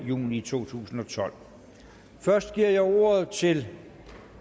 juni to tusind og tolv først giver jeg ordet til